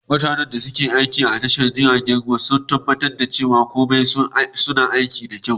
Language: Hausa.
Mutanen da ke aiki a tashar jiragen ruwa suna tabbatar da cewa komai su na aiki da kyau.